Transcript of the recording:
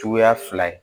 Cogoya fila ye